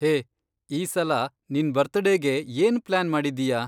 ಹೇ, ಈ ಸಲ ನಿನ್ ಬರ್ತಡೇಗೆ ಏನ್ ಪ್ಲಾನ್ ಮಾಡಿದ್ದೀಯಾ?